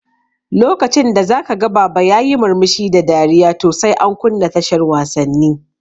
Lokacin da zaka ga baba yayi murmushi da dariya to sai an kunna tashar wasanni